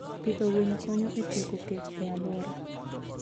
Pidho winy konyo e tieko kech e alwora.